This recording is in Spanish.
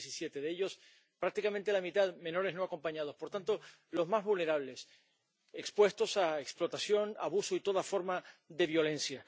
2017. De ellos prácticamente la mitad, menores no acompañados por tanto, los más vulnerables, expuestos a explotación, abuso y toda forma de violencia.